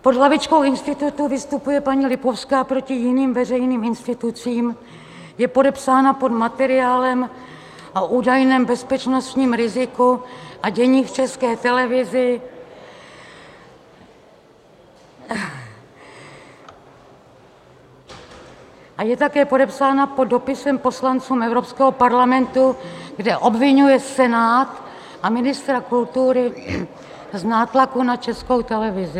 Pod hlavičkou institutu vystupuje paní Lipovská proti jiným veřejným institucím, je podepsána pod materiálem o údajném bezpečnostním riziku a dění v České televizi a je také podepsána pod dopisem poslancům Evropského parlamentu, kde obviňuje Senát a ministra kultury z nátlaku na Českou televizi.